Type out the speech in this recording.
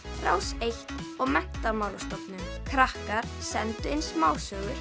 Rás eins og Menntamálastofnun krakkar sendu inn smásögur